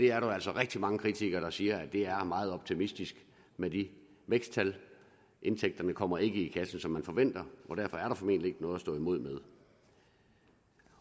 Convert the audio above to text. er jo altså rigtig mange kritikere der siger at det er meget optimistisk med de væksttal indtægterne kommer ikke i kassen som man forventer og derfor er der formentlig ikke noget at stå imod med